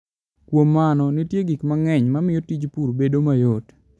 Kuom mano, nitie gik mang'eny mamiyo tij pur bedo mayot.